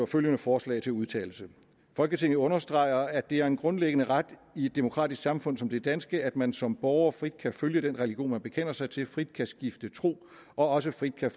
følgende forslag til vedtagelse folketinget understreger at det er en grundlæggende ret i et demokratisk samfund som det danske at man som borger frit kan følge den religion man bekender sig til frit kan skifte tro og også frit kan